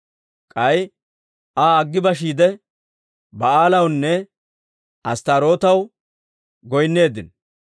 K'ay Aa aggi bashiide, Ba'aalawunne Asttaarootaw goynneeddino.